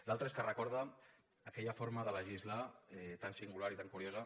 l’altre és que recorda aquella forma de legislar tan singular i tan curiosa